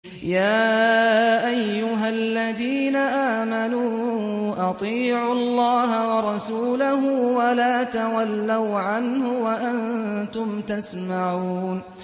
يَا أَيُّهَا الَّذِينَ آمَنُوا أَطِيعُوا اللَّهَ وَرَسُولَهُ وَلَا تَوَلَّوْا عَنْهُ وَأَنتُمْ تَسْمَعُونَ